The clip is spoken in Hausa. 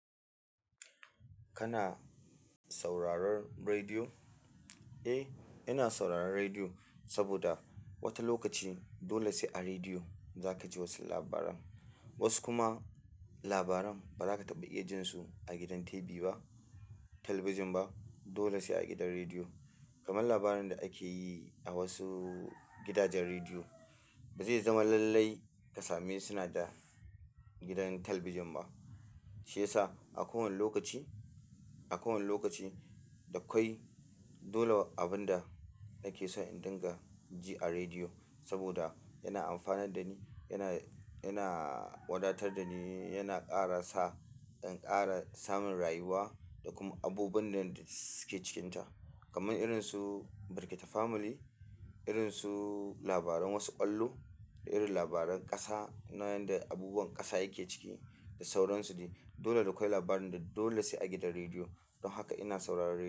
Kana sauraron rediyo? Eh, ina sauraron rediyo saboda wata lokaci dole sai a rediyo za ka ji wasu labaran. Wasu kuma labaran ba za ka taɓa iya jin su a gidan TV ba, talabijin ba. Dole sai a gidan rediyo. Kaman labarin da ake yi a wasu gidajen rediyo, ba zai zama lallai ka same suna da gidan talabijin ba. Shi yasa a kowanne lokaci, a kowanne lokaci da kwai dole abin da nake so in dinga ji a rediyo saboda yana amfanar da ni, yana, yana wadatar da ni, yana ƙara sa in ƙara samun rayuwa da kuma abubuwan da suke cikinta. Kaman irin su Barka te Family, irin su labaran wasu ƙwallo da irin labaran ƙasa na yanda abubuwan ƙasa yake ciki da sauransu. Dole da kawai labarin da dole sai a gidan rediyo. Don haka ina sauraron rediyo.